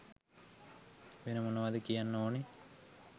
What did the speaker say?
වෙන මොනවද කියන්න ඕනේ